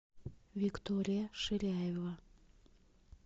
виктория ширяева